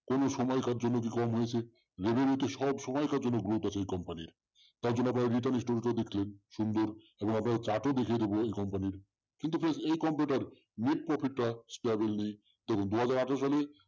কোন সময় তার জন্য কি কম হয়েছে revenue তো সবসময়ের জন্য growth আছে এই company র তার জন্য আপনার return টা দেখলেন সুন্দর এবং আপনাদের chart ও দেখিয়ে দেবো এই company র । কিন্তু please এই company টার net profit টা suddenly দেখুন দু হাজার আঠারো সালে